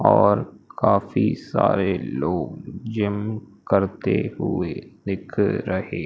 और काफी सारे लोग जिम करते हुए दिख रहे--